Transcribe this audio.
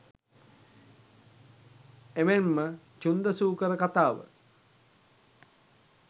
එමෙන් ම චුන්ද සූකර කතාව,